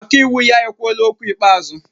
Ọkaiwu ya ekwuola okwu ikpeazụ?